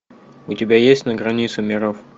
у тебя есть на границе миров